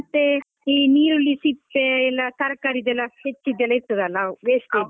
ಮತ್ತೆ ಈ ನೀರುಳ್ಳಿ ಸಿಪ್ಪೆ ಎಲ್ಲ ತರಕಾರಿದೆಲ್ಲ ಸಿಪ್ಪೆದೆಲ್ಲ ಇರ್ತದಲ wastage .